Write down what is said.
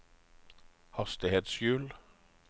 hastighetshjul